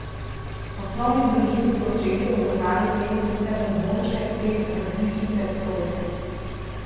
Poslovni družinski očetje bodo znali ceniti vse bonbončke te različice trojke.